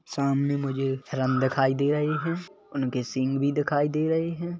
सामने मुझे हिरन दिखाई दे रही है उनके सींग भी दिखाई दे रहे है।